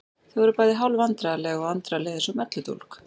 Þau voru bæði hálf vandræðaleg og Andra leið eins og melludólg.